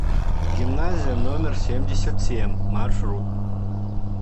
гимназия номер семьдесят семь маршрут